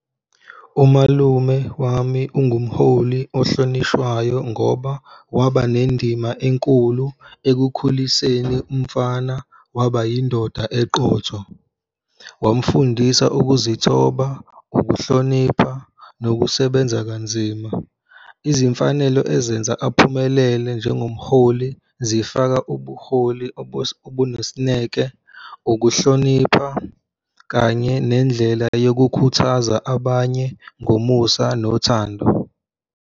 Umalume wami ungumholi ohlonishwayo, ngoba waba nendima enkulu ekukhuliseni umfana waba yindoda eqotho, wamfundisa ukuzithoba, ukuhlonipha nokusebenza kanzima. Izimfanelo ezenza aphumelele njengomholi zifaka ubuholi obunesineke, ukuhlonipha, kanye nendlela yokukhuthaza abanye ngomusa nothando.